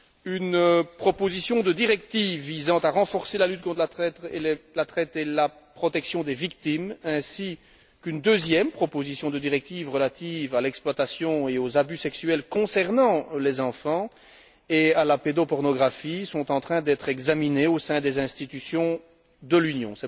Une proposition de directive visant à renforcer la lutte contre la traite et la protection des victimes, ainsi qu'une deuxième proposition de directive relative à l'exploitation et aux abus sexuels concernant les enfants et à la pédopornographie sont en train d'être examinées au sein des institutions de l'Union.